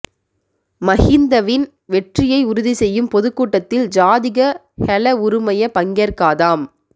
மஹிந்தவின் வெற்றியை உறுதி செய்யும் பொதுக் கூட்டத்தில் ஜாதிக ஹெல உறுமய பங்கேற்காதாம்